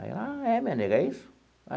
Aí ela ah, é minha nega, é isso?